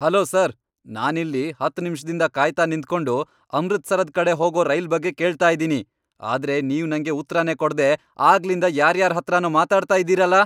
Hello sir! ನಾನಿಲ್ಲಿ ಹತ್ತ್ ನಿಮಿಷ್ದಿಂದ ಕಾಯ್ತಾ ನಿಂತ್ಕೊಂಡು ಅಮೃತ್ಸರದ್ ಕಡೆ ಹೋಗೋ ರೈಲ್ ಬಗ್ಗೆ ಕೇಳ್ತಾ ಇದೀನಿ, ಆದ್ರೆ ನೀವ್ ನಂಗೆ ಉತ್ರನೇ ಕೊಡ್ದೇ ಆಗ್ಲಿಂದ ಯಾರ್ಯಾರ್ಹತ್ರನೋ ಮಾತಾಡ್ತಾ ಇದೀರಲ!